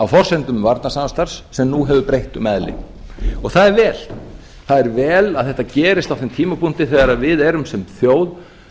á forsendum varnarsamstarfs sem nú hefur breytt um eðli það er vel það er vel að þetta gerist á þeim tímapunkti þegar við erum sem þjóð